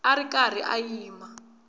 a ri karhi a yima